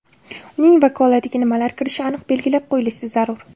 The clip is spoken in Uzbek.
Uning vakolatiga nimalar kirishi aniq belgilab qo‘yilish zarur.